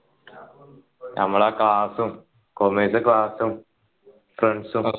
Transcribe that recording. നമ്മളെ class ഉം commerce class ഉം friends ഉം